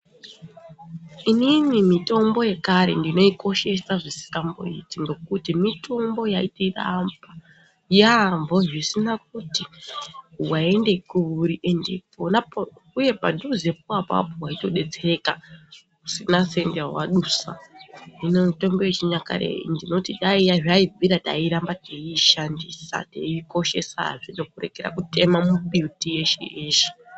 Inini mitombo yekare ndinoikoshesa zvisingamboiti ngekuti mitombo yaitirapa yambo zvisina kuti waenda kuri uye padhuzepo apapo weitodetsereka usina senti yawadusa hino mitombo yechinyakare ndinoti dai zvaibvira tairamba teishandisa teikoshesa kuregera kutema mbuti yeshe yeshe.